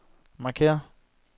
markér